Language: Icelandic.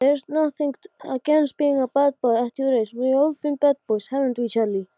Dró til stóla, opnaði skápa og skellti þeim aftur.